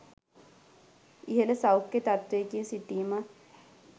ඉහළ සෞඛ්‍ය තත්ත්වයකින් සිටීමත්